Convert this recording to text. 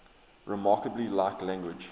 remarkably like language